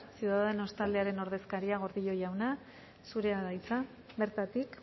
ciudadanos taldearen ordezkaria gordillo jauna zurea da hitza bertatik